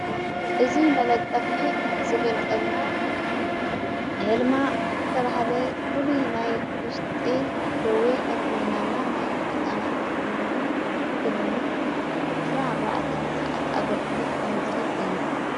እዝ መለጠፍ ዝገልጸልና የልማ እተብሃለ ፍል ናይ ኲሽጢ ደዌ ሕክምናና ናይ ሕፃናት ሕክምና ክልኒክ ምሥራን ኣርባዓተን ሰዓት ኣገልግሎት ከም ዝህብ እዩ።